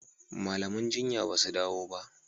malaman jinya basu dawo ba.